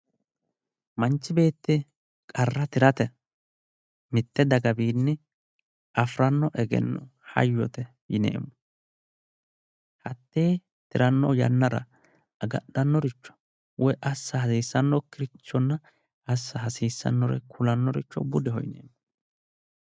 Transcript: Manchi beetti qarra tirate mitte dagawiinni afiranno egenno hayyote yineemo hatee tiranno yannara agadhannoricho woy assa hasiisannokirichona assa hasiisannore kulanno richo budeho yineemo